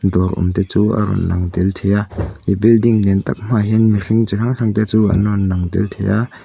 dawr awm te chu a rawn lang tel thei a building lian tak hmaah hian mihring chi hrang hrang te chu an rawn lang tel thei a--